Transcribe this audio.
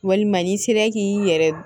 Walima n'i sera k'i yɛrɛ